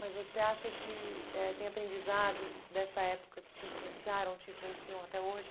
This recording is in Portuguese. Mas você acha que eh tem aprendizados dessa época que te influenciaram, te influenciam até hoje?